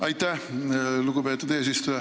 Aitäh, lugupeetud eesistuja!